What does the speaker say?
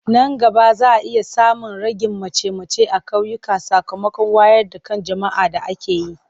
Nan gaba za a iya samun ragin mace-mace a ƙauyuka sakamakon wayar da kan jama'a da ake yi.